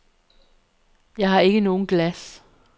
Jeg har ikke nogen glas.